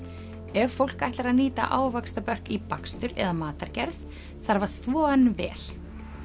ef fólk ætlar að nýta í bakstur eða matargerð þarf að þvo hann vel